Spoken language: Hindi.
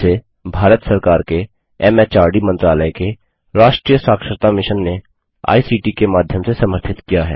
जिसे भारत सरकार के एमएचआरडी मंत्रालय के राष्ट्रीय साक्षरता मिशन ने आई सीटी के माध्यम से समर्थित किया है